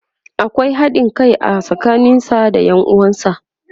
akwai haɗin Kai a tsakanin sa da Yan uwansa.